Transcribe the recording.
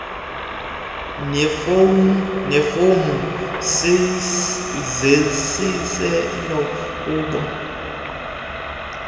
neefomu zesicelo kubo